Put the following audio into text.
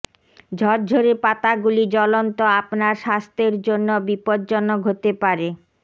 ঝরঝরে পাতাগুলি জ্বলন্ত আপনার স্বাস্থ্যের জন্য বিপজ্জনক হতে পারে